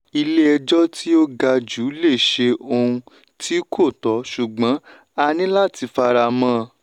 ilé ejò tí ó ga jù lè ṣe òun tí kò tó ṣùgbọ́n a ní láti fara mọ́.